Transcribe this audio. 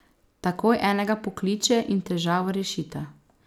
Takoj enega pokliče in težavo rešita.